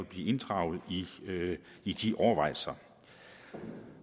blive inddraget i de overvejelser